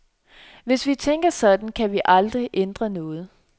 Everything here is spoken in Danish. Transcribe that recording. Hvis vi tænker sådan, kan vi aldrig ændre noget.